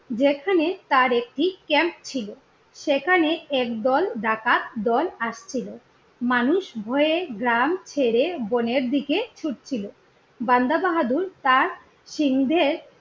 যেখানে তার একটি ক্যাম্প ছিল, সেখানে একদল ডাকাত দল আসছিলো। মানুষ ভয়ে গ্রাম ছেড়ে বোনের দিকে ছুটছিল। বান্দা বাহাদুর তার সিং দের